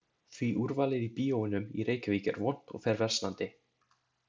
Því úrvalið í bíóunum í Reykjavík er vont og fer versnandi.